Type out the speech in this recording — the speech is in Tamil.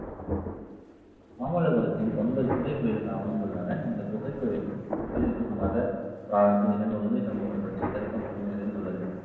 மாமல்லபுரத்தில் ஒன்பது குகை கோவில்கள் அமைந்துள்ளன. இந்த குகை கோயில்களில் இது மத புராணத்தில் நிகழ்ந்த உண்மை சம்பவங்கள் பற்றி, சிறப்பம்சம் நிறைந்துள்ளது